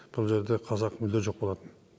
бұл жерде қазақ мүлде жоқ болатын